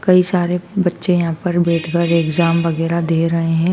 कई सारे बच्चे यहां पर बैठकर एग्जाम वगैरा दे रहे हैं।